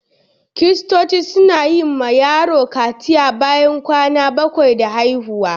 Kiristoci suna yi wa yaron kaciya bayan kwana bakwai da haihuwa.